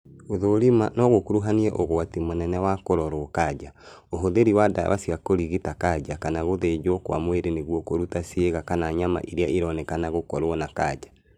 Gũthũrima no gũkuruhanie ũgwati mũnene wa kũrorwo kanja, ũhũthĩri wa ndawa cia kũrigita kanja kana gũthĩnjwo kwa mwĩrĩ nĩguo kũruta ciĩga kana nyama irĩa ironekana gũkorwo na kanja